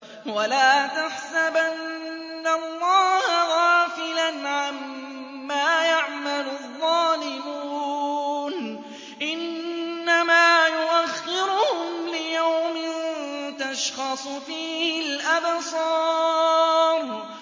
وَلَا تَحْسَبَنَّ اللَّهَ غَافِلًا عَمَّا يَعْمَلُ الظَّالِمُونَ ۚ إِنَّمَا يُؤَخِّرُهُمْ لِيَوْمٍ تَشْخَصُ فِيهِ الْأَبْصَارُ